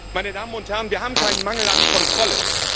Meine Damen und Herren, wir haben keinen Mangel an Kontrolle.